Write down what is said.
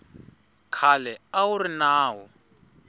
khale a wu ri nawu